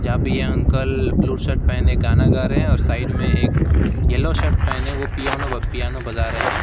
यहां पे ये अंकल ब्लू शर्ट पहने गाना गा रहे हैं और साइड में एक एल्लो शर्ट पहने वो पियोनो पियानो बजा रहे--